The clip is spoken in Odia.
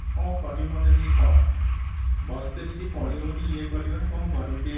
କ'ଣ କରିବି ମତେ ଟିକେ କହ ଭଲ ସେ କିଛି ପଢି ହଉନି ଇଏ କରି ହଉନି କ'ଣ କରିବି ଟିକେ କହ ?